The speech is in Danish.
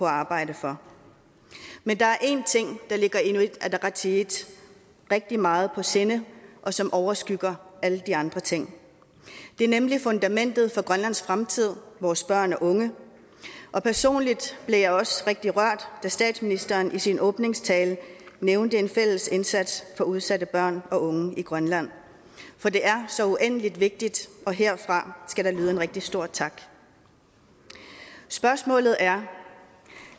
arbejde for men der er én ting der ligger i inuit ataqatigiit rigtig meget på sinde og som overskygger alle de andre ting det er nemlig fundamentet for grønlands fremtid vores børn og unge personligt blev jeg også rigtig rørt da statsministeren i sin åbningstale nævnte en fælles indsats for udsatte børn og unge i grønland for det er så uendelig vigtigt og herfra skal der lyde en rigtig stor tak spørgsmålet er